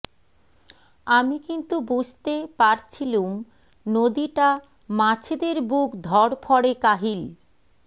আমি কিন্তু বুঝতে পারছিলুম নদীটা মাছেদের বুক ধড়ফড়ে কাহিল